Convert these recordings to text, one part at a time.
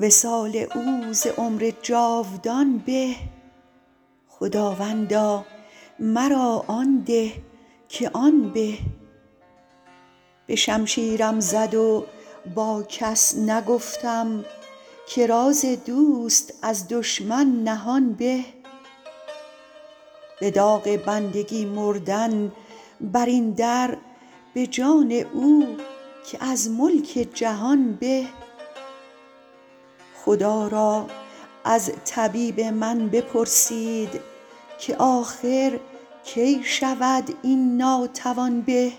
وصال او ز عمر جاودان به خداوندا مرا آن ده که آن به به شمشیرم زد و با کس نگفتم که راز دوست از دشمن نهان به به داغ بندگی مردن بر این در به جان او که از ملک جهان به خدا را از طبیب من بپرسید که آخر کی شود این ناتوان به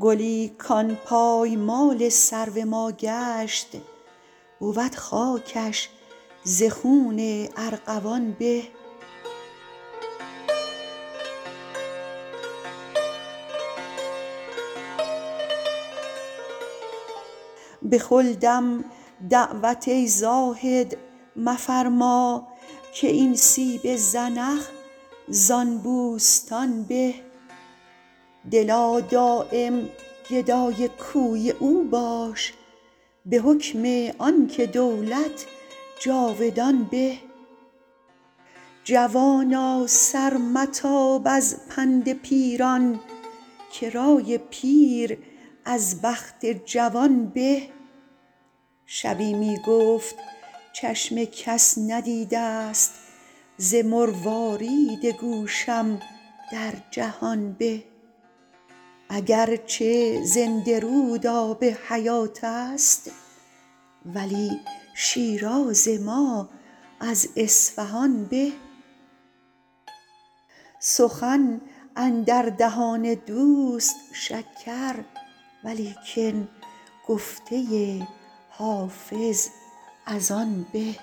گلی کان پایمال سرو ما گشت بود خاکش ز خون ارغوان به به خلدم دعوت ای زاهد مفرما که این سیب زنخ زان بوستان به دلا دایم گدای کوی او باش به حکم آن که دولت جاودان به جوانا سر متاب از پند پیران که رای پیر از بخت جوان به شبی می گفت چشم کس ندیده ست ز مروارید گوشم در جهان به اگر چه زنده رود آب حیات است ولی شیراز ما از اصفهان به سخن اندر دهان دوست شکر ولیکن گفته حافظ از آن به